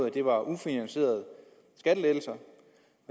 at det var ufinansierede skattelettelser